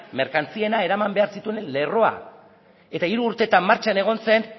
merkantziena eraman behar zituen lerroa eta hiru urtetan martxan egon zen